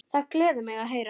Það gleður mig að heyra.